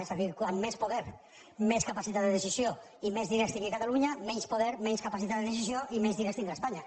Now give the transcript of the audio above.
és a dir com més po·der més capacitat de decisió i més diners tingui ca·talunya menys poder menys capacitat de decisió i menys diners tindrà espanya